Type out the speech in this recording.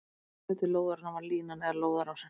Aðalhluti lóðarinnar var línan, eða lóðarásinn.